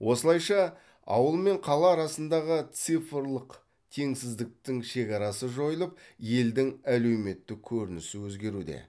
осылайша ауыл мен қала арасындағы цифрлық теңсіздіктің шекарасы жойылып елдің әлеуметтік көрінісі өзгеруде